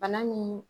Bana nin